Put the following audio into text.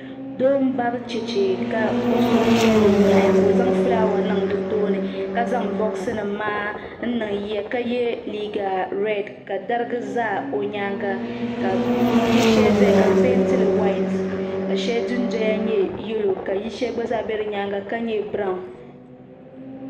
Doo m bari cheche ka o suhupiɛlli yahi ka o zaŋ fulaawa niŋ di tooni ka zaŋ boɣusanim maa n niŋ ye ka ye liiga rieti ka dariga za o nyaaŋa ka yili shɛli zaya ka bɛ pieentili wayiti ka shɛli dundoya nyɛ yalo ka yili shɛli gba zaa be di nyaaŋa ka nye biraahu.